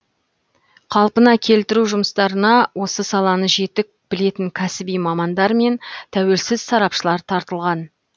қалпына келтіру жұмыстарына осы саланы жетік білетін кәсіби мамандар мен тәуелсіз сарапшылар тартылған